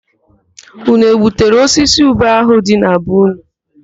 Ụnụ egbuturu osisi ube ahụ dị na be ụnụ?